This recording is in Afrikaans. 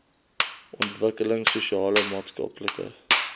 ontwikkelings sosiale maatskaplike